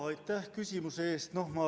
Aitäh küsimuse eest!